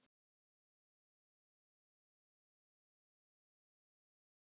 Minna fyndinn vegna þeirra.